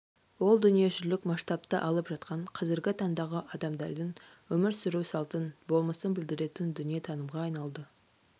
ол дүниежүзілік масштабты алып жатқан қазіргі таңдағы адамдардың өмір сүру салтын болмысын білдіретін дүниетанымға айналды